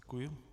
Děkuji.